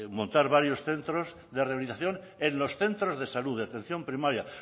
montar varios centros de rehabilitación en los centros de salud de atención primaria